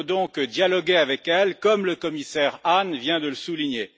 Il faut donc dialoguer avec elle, comme le commissaire Hahn vient de le souligner.